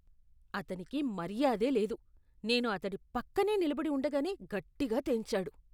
అతనికి మర్యాదే లేదు. నేను అతడి పక్కనే నిలబడి ఉండగానే గట్టిగా తేన్చాడు.